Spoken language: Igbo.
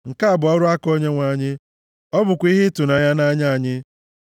nke a bụ ọrụ aka Onyenwe anyị, ọ bụkwa ihe ịtụnanya nʼanya anyị.